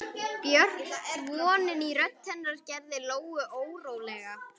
Björt vonin í rödd hennar gerði Lóu órólega.